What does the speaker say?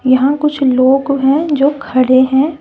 यहां कुछ लोग हैं जो खड़े हैं।